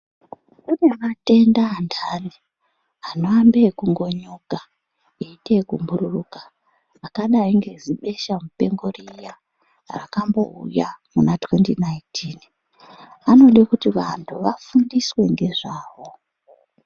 Kunematenda anhani anoambe ngekungonyuka eiteyekubhururuka akadai ngezibesha mupengo riya rakambouya muna2019 anode kuti vanhu vafundiswe ngezvawo.